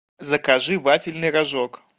закажи вафельный рожок